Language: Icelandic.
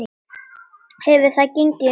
Hefur það gengið vel?